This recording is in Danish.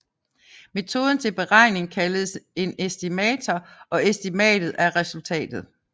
Metoden til beregningen kaldes en estimator og estimatet er resultatet